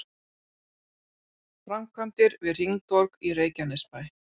Framkvæmdir við hringtorg í Reykjanesbæ